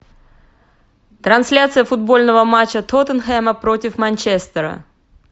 трансляция футбольного матча тоттенхэма против манчестера